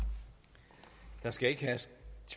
så skal